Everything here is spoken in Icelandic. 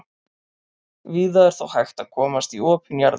víða er þó hægt að komast í opin jarðlög